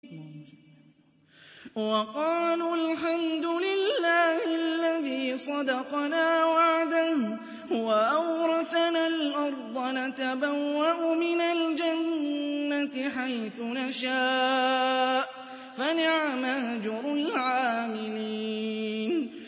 وَقَالُوا الْحَمْدُ لِلَّهِ الَّذِي صَدَقَنَا وَعْدَهُ وَأَوْرَثَنَا الْأَرْضَ نَتَبَوَّأُ مِنَ الْجَنَّةِ حَيْثُ نَشَاءُ ۖ فَنِعْمَ أَجْرُ الْعَامِلِينَ